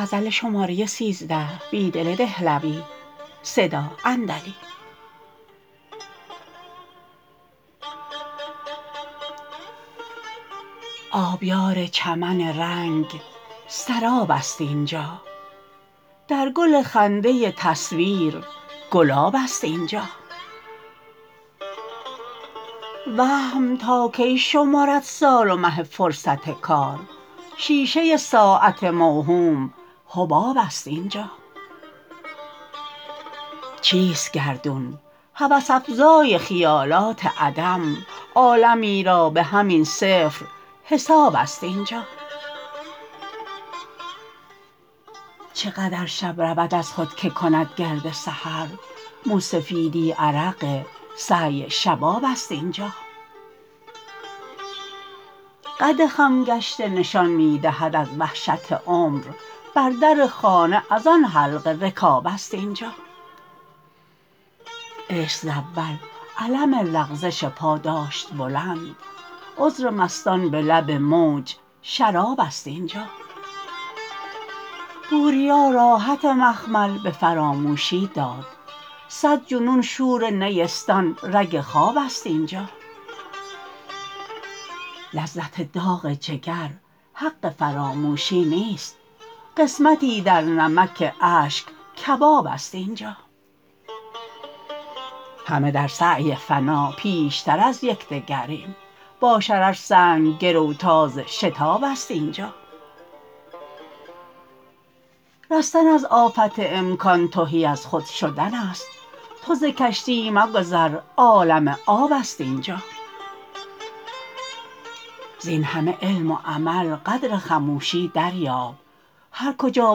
آبیار چمن رنگ سراب است اینجا در گل خنده تصویر گلاب است اینجا وهم تا کی شمرد سال و مه فرصت کار شیشه ساعت موهوم حباب است اینجا چیست گردون هوس افزای خیالات عدم عالمی را به همین صفر حساب است اینجا چه قدر شب رود از خود که کند گرد سحر موسفیدی عرق سعی شباب است اینجا قد خم گشته نشان می دهد از وحشت عمر بر در خانه از آن حلقه رکاب است اینجا عشق ز اول علم لغزش پا داشت بلند عذر مستان به لب موج شراب است اینجا بوریا راحت مخمل به فراموشی داد صدجنون شور نیستان رگ خواب است اینجا لذت داغ جگر حق فراموشی نیست قسمی در نمک اشک کباب است اینجا همه در سعی فنا پیشتر از یکدگریم با شرر سنگ گروتاز شتاب است اینجا رستن از آفت امکا ن تهی از خود شدن است تو ز کشتی مگذر عالم آب است اینجا زین همه علم و عمل قدر خموشی دریاب هرکجا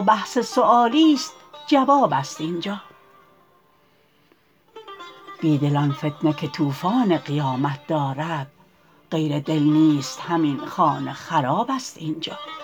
بحث سیوالی ست جواب است اینجا بیدل آن فتنه که توفان قیامت دارد غیر دل نیست همین خانه خراب است اینجا